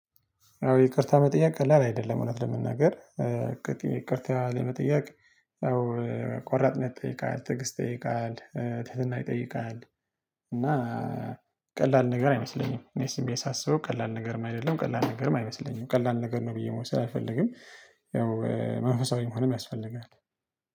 አዎ ይቅርታ መጠየቅ ቀላል አይደለም እውነት ለመናገር ይቅርታ ለመጠየቅ ያው ቆራጥነት ጠይቃል ትዕግስት ጠይቃል ትህትና ይጠይቃል እና ቀላል ነገር አይመስለኝም። እኔ ዝም ብየ ሳስበው ቀላል ነገርም አይደለም ቀላል ነገርም አይመስለኝም ቀላል ነገር ነው ብዬ መውሰድ አልፈልግም። ያው መንፈሳዊ መሆንም ያስፈልጋል